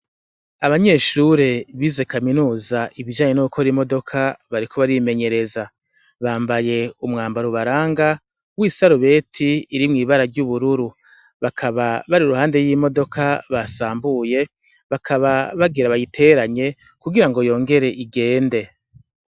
Abanyeshure bize kaminuza ibijanye no gukora imodoka bariko barimenyereza bambaye umwambaro ubaranga wisarubeti iri mwibara ryubururu bakaba bari iruhande yimodoka basambuye bakaba bagire bayiteranye kugirango yongere igende.